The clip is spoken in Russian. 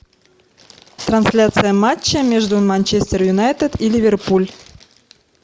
трансляция матча между манчестер юнайтед и ливерпуль